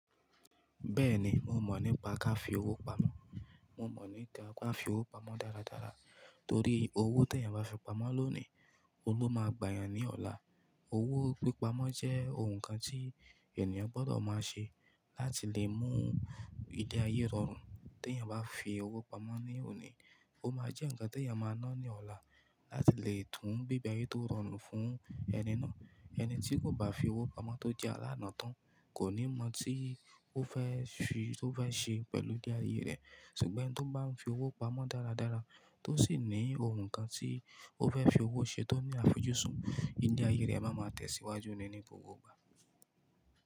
Bẹ́ẹ̀ni, mo mọ̀ nípa ká fi owó pamọ́. Mo mọ̀ nípa ká fi owó pamọ́ dáradára torí owó tè ẹ̀yàn bá fi pamọ́ lónìí, ohun lo máa gbà yàn ní ọ̀la. Owó pípa mọ́ jẹ́ ó hun kan tí ènìyàn gbọ́dọ̀ máa ṣe láti lè mú ìdí ayé rọrùn. Te ẹ̀yàn bá fi owó pamọ́ ní òní, ó máa jẹ́ ǹkan te ẹ̀yan máa ná ní ọ̀la láti lè tún bí bẹ̀ ayé tó rọrùn fún ẹni náà. Ẹni tí kò bá fi owó pamọ́ tó jẹ́ alána tán kò ní mọ̀ hun tí ó fẹ́ fi, tó fẹ́ ṣe pẹ̀lú ìdí ayé rẹ̀. Ṣùgbọ́n ẹni tó bá ń fi owó pamọ́ dáradára, tó sì ní ohun kan tí ó fẹ́ fi owó ṣe tó ní àfojúsùn, ìle ayé rẹ̀ ma máa tẹ̀síwájú ní ni gbogbo gbà.